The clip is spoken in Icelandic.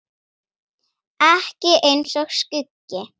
Ekki eins og skuggi.